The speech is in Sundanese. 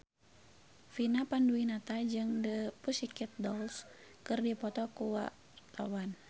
Vina Panduwinata jeung The Pussycat Dolls keur dipoto ku wartawan